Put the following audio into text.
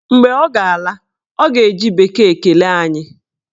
Mgbe ọ ga-ala, ọ ga-eji bekee kelee anyị